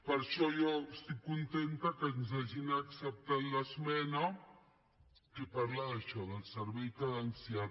per això jo estic contenta que ens hagin acceptat l’esmena que parla d’això del servei cadenciat